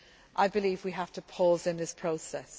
I believe we need to pause in this process.